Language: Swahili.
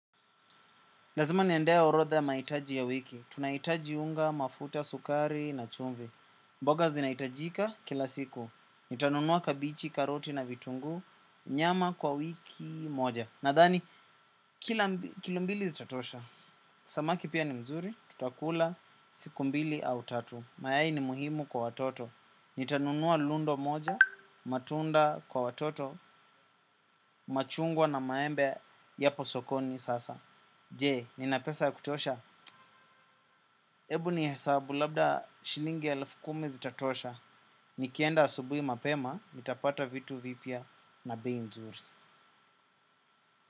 Lazima niendea orodha ya mahitaji ya wiki. Tunahitaji unga mafuta sukari na chumvi. Mboga zinaitajika kila siku. Nitanunua kabichi, karoti na vitungu, nyama kwa wiki moja. Nadhani, kilo mbili zitatosha. Samaki pia ni mzuri, tutakula siku mbili au tatu. Mayai ni muhimu kwa watoto. Nitanunua lundo moja, matunda kwa watoto, machungwa na maembe yapo sokoni sasa. Je, ninapesa ya kutosha. Ebu ni hesabu labda shilingi ya elfu kumi zitatosha, nikienda asubui mapema, mitapata vitu vipya na bei nzuri.